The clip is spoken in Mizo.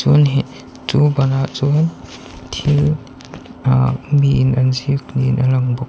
chu banah chuan thil aah miin an ziak niin a lawng bawk.